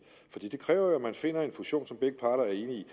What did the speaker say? for det kræver jo at man finder en fusion som begge parter er enige